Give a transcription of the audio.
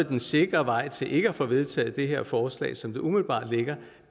den sikre vej til ikke at få vedtaget det her forslag som det umiddelbart ligger